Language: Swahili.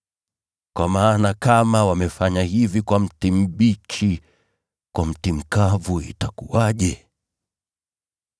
Kwa maana kama wamefanya hivi kwa mti mbichi, kwa mti mkavu itakuwaje?”